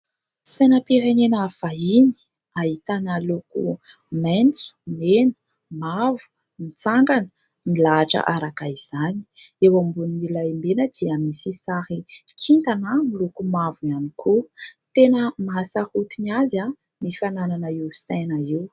Sainam-pirenena vahiny, ahitana loko : maitso, mena, mavo ; mitsangana milahatra araka izany ; eo ambonin'ilay mena dia misy sary kintana miloko mavo ihany koa. Tena mahasarotiny azy ny fananana io saina io.